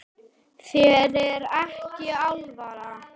Þér er ekki alvara